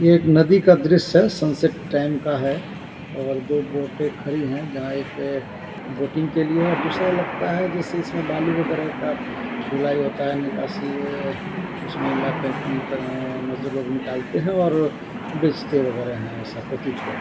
यह एक नदी का दृश्य है सनसेट टाइम का है और दो बोटे खड़ी है जहां एक ए बोटिंग के लिए है और दूसरा लगता है जैसे इसमें बालू वगैरा का ढुलाई होता है। निकासी उसमें लाकर अ अ अम्म मजदूर लोग निकालते हैं और बेचते वगैरा है ऐसा प्रतीत हो रहा है।